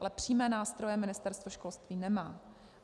Ale přímé nástroje Ministerstvo školství nemá.